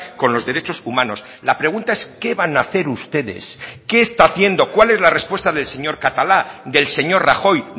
con los derechos humanos la pregunta es qué van a hacer ustedes qué está haciendo cuál es la respuesta del señor catalá del señor rajoy